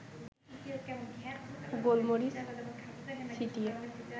গোলমরিচ ছিটিয়ে